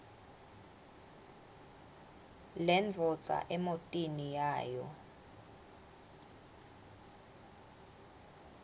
lendvodza emotini yayo